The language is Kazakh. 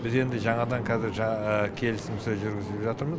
біз енді жаңадан қазір келісім сөз жүргізіп жатырмыз